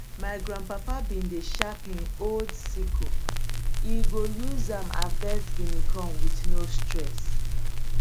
ma grandpapa been dey sharp him old sickle e go use am harvest guinea corn with no stress